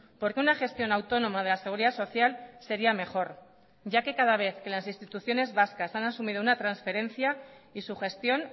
porque una gestión autónoma de la seguridad social sería mejor ya que cada vez que las instituciones vascas han asumido una transferencia y su gestión